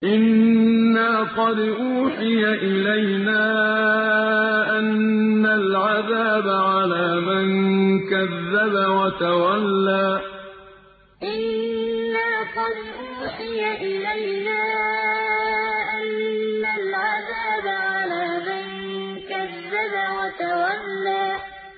إِنَّا قَدْ أُوحِيَ إِلَيْنَا أَنَّ الْعَذَابَ عَلَىٰ مَن كَذَّبَ وَتَوَلَّىٰ إِنَّا قَدْ أُوحِيَ إِلَيْنَا أَنَّ الْعَذَابَ عَلَىٰ مَن كَذَّبَ وَتَوَلَّىٰ